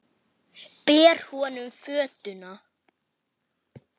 Ber honum fötuna.